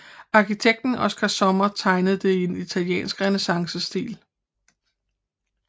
Arkitekten Oskar Sommer tegnede det i en italiensk renæssancestil